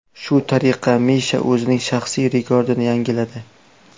Shu tariqa Misha o‘zining shaxsiy rekordini yangiladi.